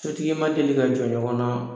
Sotigi ma deli ka jɔ ɲɔgɔnna